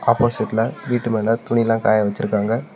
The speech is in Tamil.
ஆப்போசிட்ல வீட்டு மேல துணிலா காய வச்சுருக்காங்க.